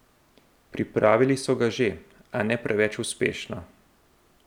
Pripravili so ga že, a ne preveč uspešno.